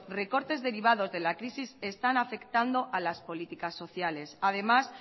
recortes derivados de la crisis están afectando a las políticas sociales además